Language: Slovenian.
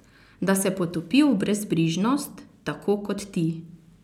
Da se potopi v brezbrižnost tako kot ti?